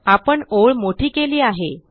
आपण ओळ मोठी केली आहे